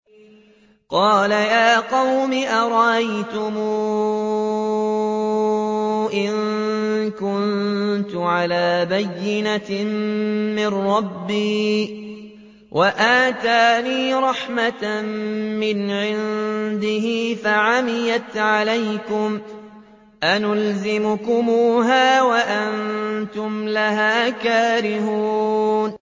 قَالَ يَا قَوْمِ أَرَأَيْتُمْ إِن كُنتُ عَلَىٰ بَيِّنَةٍ مِّن رَّبِّي وَآتَانِي رَحْمَةً مِّنْ عِندِهِ فَعُمِّيَتْ عَلَيْكُمْ أَنُلْزِمُكُمُوهَا وَأَنتُمْ لَهَا كَارِهُونَ